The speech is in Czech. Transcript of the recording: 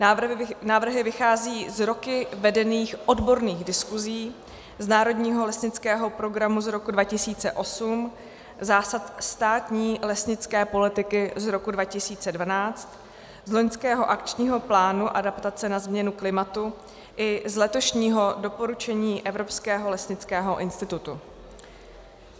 Návrhy vycházejí z roky vedených odborných diskuzí, z Národního lesnického programu z roku 2008, Zásad státní lesnické politiky z roku 2012, z loňského Akčního plánu adaptace na změnu klimatu i z letošního doporučení Evropského lesnického institutu.